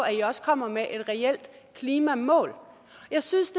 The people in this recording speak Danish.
at i også kommer med et reelt klimamål jeg synes